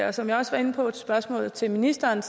og som jeg også var inde på i spørgsmålet til ministeren er